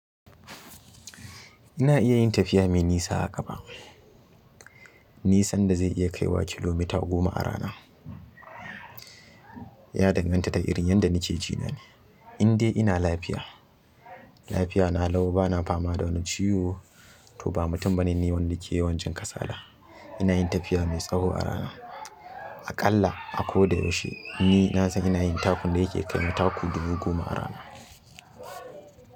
Ina iya yin tafiya mai nisa a ƙafa nisan da zai iya kaiwa kilomita goma a rana. Ya danganta da irin yadda nake jina ne. In dai ina lafiya, lafiya na lau bana fama da wani ciwo ko ba mutum ba ne nini wanda ke yawan jin kasala, ina yin tafiya mai tsawo a rana. Aƙalla a ko da yaushe ni na san ina yin taku da yake kai na taku dubu goma a rana.